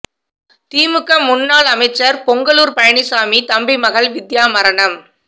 திமுக முன்னாள் அமைச்சர் பொங்கலூர் பழனிச்சாமி தம்பி மகள் வித்யா மரணம்